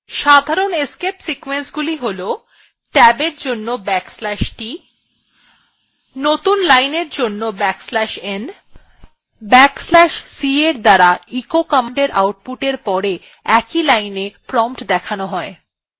সাধারণ escape sequenceগুলি হল ট্যাব এর জন্য \t নতুন line এর জন্য \t এবং \t escape sequenceএর দ্বারা echo কমান্ডএর আউট পুটer pore prompt একই linea দেখানো হয়